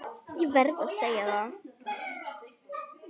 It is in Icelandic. Ég verð að segja það.